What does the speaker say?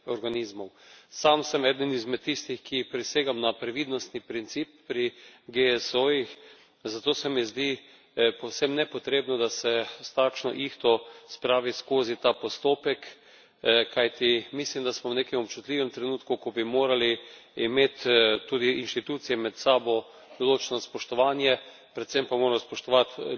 Sam sem eden izmed tistih, ki prisegajo na previdnostni princip pri GSO jih, zato se mi zdi povsem nepotrebno, da se s takšno ihto spravi skozi ta postopek, kajti mislim, da smo v nekem občutljivem trenutku, ko bi morale imeti tudi inštitucije med sabo določeno spoštovanje, predvsem pa moramo spoštovati ljudi, ki so